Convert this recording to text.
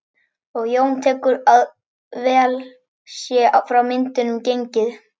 Og Jón tekur fram að vel sé frá myndunum gengið.